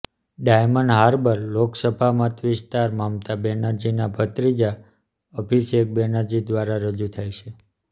diamond Harbour Lok Sabha મત વિસ્તાર મમતા બેનર્જીના ભત્રીજા અભિષેક બેનર્જી દ્વારા રજૂ થાય છે